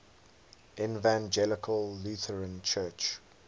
evangelical lutheran church